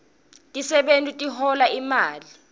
tisebewti tihola imali